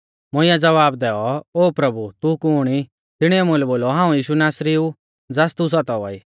मुंइऐ ज़वाब दैऔ ओ प्रभु तू कुण ई तिणीऐ मुलै बोलौ हाऊं यीशु नासरी ऊ ज़ास तू सतावा ई